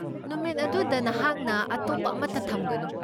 ꯅꯨꯃꯤꯠ ꯑꯗꯨꯗ ꯅꯍꯥꯛꯅ ꯑꯇꯣꯞꯄ ꯑꯃꯠꯇ ꯊꯝꯒꯅꯨ꯫